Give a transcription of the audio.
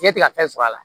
Fiɲɛ tɛ ka fɛn sɔrɔ a la